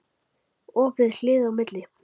Opið hlið á milli.